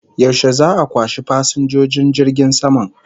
Yaushe za'a kwashe fasinjojin jirgin sama?